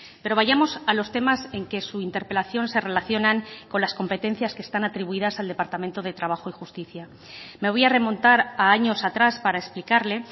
pero vayamos a los temas en que su interpelación se relacionan con las competencias que están atribuidas al departamento de trabajo y justicia me voy a remontar a años atrás para explicarle